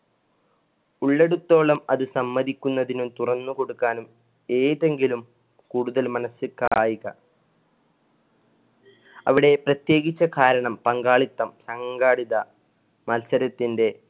ഉള്ളടുത്തോളം അത് സമ്മതിക്കുന്നതിനും തുറന്ന് കൊടുക്കാനും ഏതെങ്കിലും കൂടുതൽ മനസ്സിൽ കായിക അവിടെ പ്രതേകിച്ച് കാരണം പങ്കാളിത്തം സംഘടിത മത്സരത്തിന്‍ടെ